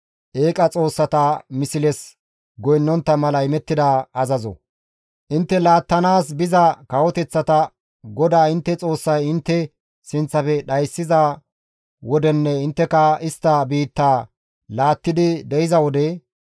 Intte laattanaas biza kawoteththata GODAA intte Xoossay intte sinththafe dhayssiza wodenne intteka istta biittaa laattidi de7iza wode,